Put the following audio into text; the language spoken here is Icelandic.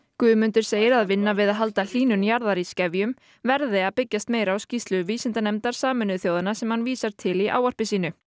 Guðmundur segir að vinna við að halda hlýnun jarðar í skefjum verði að byggjast meira á skýrslu vísindanefndar Sameinuðu þjóðanna sem hann vísar til í ávarpi sínu